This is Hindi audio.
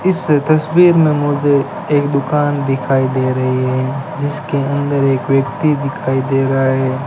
इस तस्वीर में मुझे एक दुकान दिखाई दे रही है जिसके अंदर एक व्यक्ति दिखाई दे रहा है।